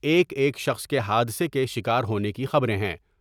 ایک ایک شخص کے حادثے کے شکار ہونے کی خبریں ہیں